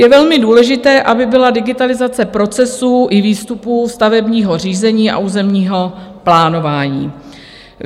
Je velmi důležité, aby byla digitalizace procesů i výstupů stavebního řízení a územního plánování.